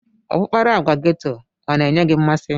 Ọkpụkpara agwa geto ọ na-enye gị mmasị?